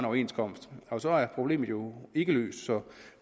overenskomst og så er problemet jo ikke løst så